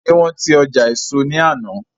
Ṣe wọn ti ọjà éso ní àná?